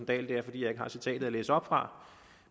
dahl er at jeg ikke har citatet at læse op fra